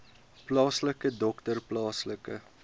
plaaslike dokter plaaslike